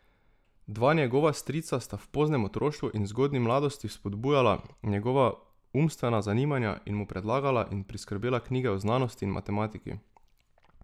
Dva njegova strica sta v poznem otroštvu in zgodnji mladosti vzpodbujala njegova umstvena zanimanja in mu predlagala in priskrbela knjige o znanosti in matematiki.